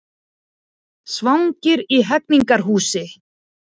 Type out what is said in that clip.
Svangir í Hegningarhúsi